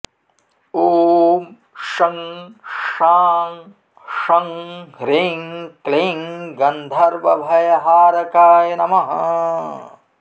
ॐ शं शां षं ह्रीं क्लीं गन्धर्वभयहारकाय नमः